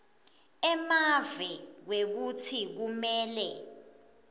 emave kwekutsi kumele